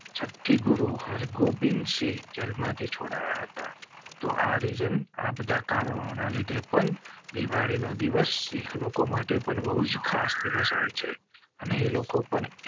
છઠ્ઠી ગુરુ હર ગોબિંદ સિંહ જેલ માંથી છોડયા હતા. તો આજે આપડા કારણો ના લીધે પણ દિવાળી નો દિવસ એક લોકો માટે પણ બહુજ ખાસ દિવસ હોય છે અને લોકો પણ.